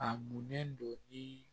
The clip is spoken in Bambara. A munnen don i